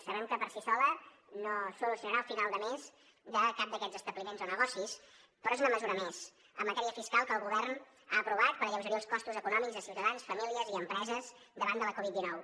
sabem que per sí sola no solucionarà el final de mes de cap d’aquests establiments o negocis però és una mesura més en matèria fiscal que el govern ha aprovat per alleugerir els costos econòmics a ciutadans famílies i empreses davant de la covid dinou